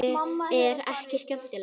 Úlfi er ekki skemmt.